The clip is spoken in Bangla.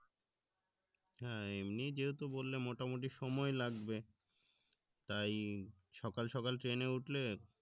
হ্যাঁ এমনি যেহেতু বললে মোটামুটি সময় লাগবে তাই সকাল সকাল train এ উঠলে